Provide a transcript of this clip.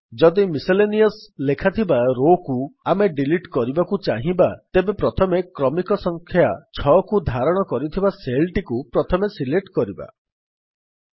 ଯଦି ମିସେଲେନିୟସ୍ ଲେଖାଯାଇଥିବା Rowକୁ ଆମେ ଡିଲିଟ୍ କରିବାକୁ ଚାହିଁବା ତେବେ କ୍ରମିକ ସଂଖ୍ୟା 6କୁ ଧାରଣ କରିଥିବା ସେଲ୍ ଟିକୁ ପ୍ରଥମେ ସିଲେକ୍ଟ୍ କରନ୍ତୁ